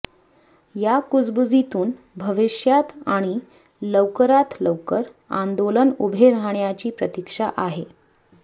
या कुजबुजीतून भविष्यात आणि लवकरात लवकर आंदोलन उभे राहण्याची प्रतीक्षा आहे